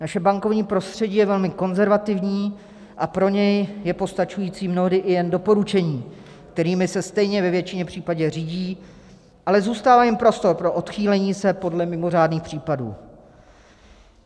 Naše bankovní prostředí je velmi konzervativní a pro ně je postačující mnohdy i jen doporučení, kterými se stejně ve většině případů řídí, ale zůstává jim prostor pro odchýlení se podle mimořádných případů.